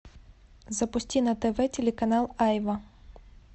запусти на тв телеканал айва